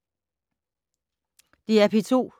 DR P2